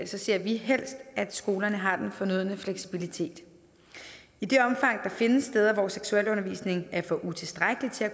ser vi helst at skolerne har den fornødne fleksibilitet i det omfang der findes steder hvor seksualundervisning er for utilstrækkelig til at